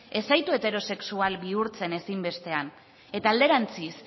ez zaitu heterosexual bihurtzen ezin bestean eta alderantziz